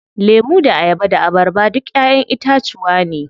Lemu da ayaba da abarba duk ƴaƴen itacuwa ne.